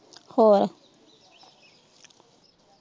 ਹੋਰ?